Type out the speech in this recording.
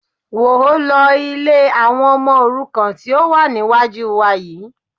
Wọ́ ọ lọ ilé àwọn ọmọ òrukàn tí ó wà níwájú wa yìí